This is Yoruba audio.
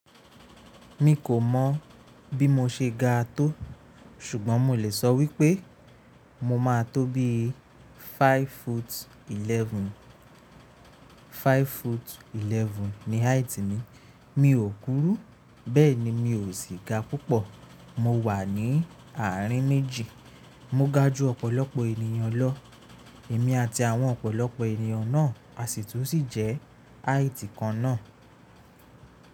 Mi kò mọ̀ bí mo ṣe ga tó, ṣùgbọ́n mo lè sọ wípé mo máa tó bí i 5 foot 11. 5 foot 11 ni height mi. Mi ò kúrú, bẹ́ẹ̀ ni mi ò sì ga púpọ̀. Mo wà ní àárín méjì. Mo ga ju ọ̀pọ̀lọpọ̀ ènìyàn lọ, èmi àti àwọn ọ̀pọ̀lọpọ̀ ènìyàn náà a sì tún sì jẹ́ height kan náà.